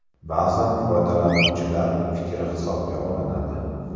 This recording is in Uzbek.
Ba’zan foydalanuvchilar fikri hisobga olinadi.